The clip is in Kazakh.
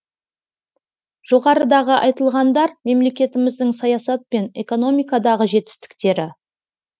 жоғарыдағы айтылғандар мемлекетіміздің саясат пен экономикадағы жетістіктері